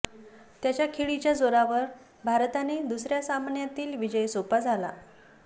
त्याच्या खेळीच्या जोरावर भारताने दुसऱ्या सामन्यातील विजय सोपा झाला